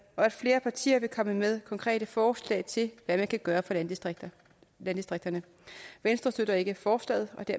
og at flere partier vil komme med konkrete forslag til hvad man kan gøre for landdistrikterne landdistrikterne venstre støtter ikke forslaget og det